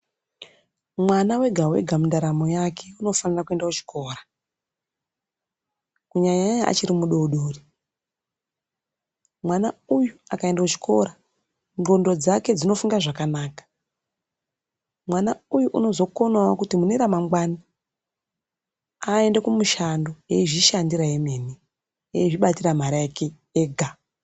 Mwana wega wega, mundaramo yake unofanira kuenda kuchikora. Kunyanya nyanya achiri mudodori . Mwana uyu, akayenda kuchikora, ngxondo dzake dzinofunga zvakanaka. Mwana uyu anozokonawo kuti muneramangwana ayende kumushando ezvishandira hemeni, ezvibatira mari yake ega.